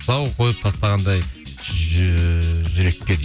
тұсау қойып тастағандай жүрекке дейді